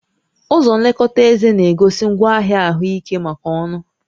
Ụzọ nlekọta éze na-egosi ngwaahịa ahụike maka ọnụ